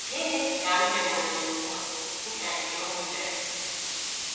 “ Gịnị ka m meworo ugbu a dị ka nke unu mere? ”